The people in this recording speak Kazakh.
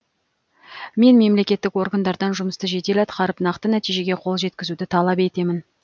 мен мемлекеттік органдардан жұмысты жедел атқарып нақты нәтижеге қол жеткізуді талап етемін